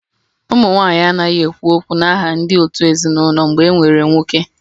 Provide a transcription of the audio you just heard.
Ụmụ nwanyị anaghị ekwu okwu n'aha ndị òtù ezinụlọ mgbe e nwere nwoke